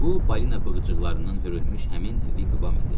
Bu balina bığıcıqlarından hörülmüş həmin Viqvam idi.